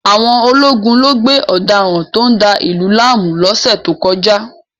Àwọn ológun lo gbé ọ̀daràn tó ń da ìlú láàmú lọ́sẹ̀ tó kọjá